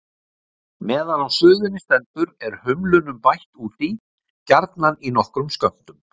Meðan á suðunni stendur er humlunum bætt út í, gjarna í nokkrum skömmtum.